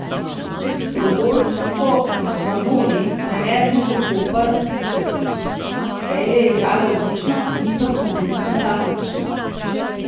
Rodolfo Vanoli, trener Luke Koper: 'Celje je igralo odlično, mi pa smo bili fantastični.